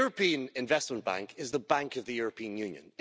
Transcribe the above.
The European Investment Bank is the bank of the European Union.